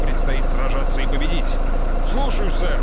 предстоит сражаться и победить слушаюсь сэр